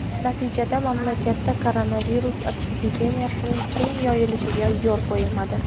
Natijada mamlakatda koronavirus epidemiyasining keng yoyilishiga yo‘l qo‘yilmadi.